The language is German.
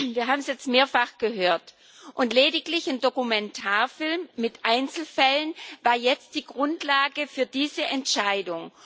Wir haben es jetzt mehrfach gehört, und lediglich ein Dokumentarfilm mit Einzelfällen war die Grundlage für diese Entscheidung.